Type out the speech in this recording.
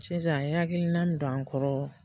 Sisan i hakilina don an kɔrɔ